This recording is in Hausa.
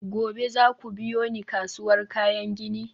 gobe za ku biyo ni kasuwar kayan gini?